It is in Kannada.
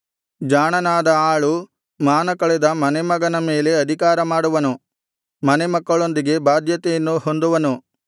ಜಾಣನಾದ ಆಳು ಮಾನಕಳೆದ ಮನೆಮಗನ ಮೇಲೆ ಅಧಿಕಾರಮಾಡುವನು ಮನೆಮಕ್ಕಳೊಂದಿಗೆ ಬಾಧ್ಯತೆಯನ್ನು ಹೊಂದುವನು